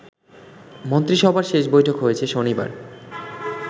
মন্ত্রিসভার শেষ বৈঠক হয়েছে শনিবার